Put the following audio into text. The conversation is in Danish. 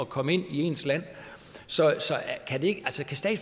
komme ind i ens land så